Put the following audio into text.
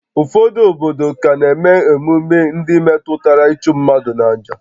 Ụfọdụ obodo ka na-eme emume ndị metụtara ịchụ mmadụ n'àjà